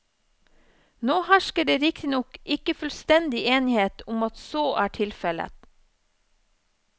Nå hersker det riktignok ikke fullstendig enighet om at så er tilfellet.